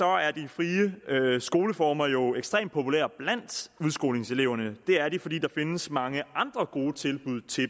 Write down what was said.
er de frie skoleformer jo ekstremt populære blandt udskolingseleverne og det er de fordi der her findes mange andre gode tilbud til